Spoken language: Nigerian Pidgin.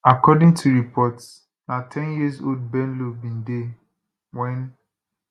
according to reports na ten years old bello bin dey wen